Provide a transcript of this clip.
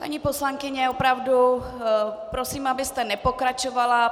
Paní poslankyně, opravdu prosím, abyste nepokračovala.